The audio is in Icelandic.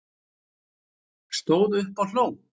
Stóð upp og hló